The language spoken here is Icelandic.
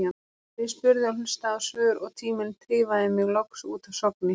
En ég spurði og hlustaði á svör og tíminn tifaði mig loks út af Sogni.